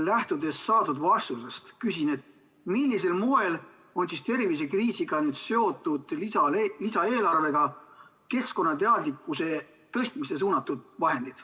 Lähtudes saadud vastustest, küsin, millisel moel on tervisekriisiga seotud lisaeelarvega keskkonnateadlikkuse suurendamisele suunatud vahendid.